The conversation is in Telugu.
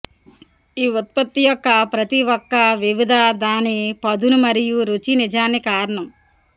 ఈ ఉత్పత్తి యొక్క ప్రతి ఒక్క వివిధ దాని పదును మరియు రుచి నిజాన్ని కారణం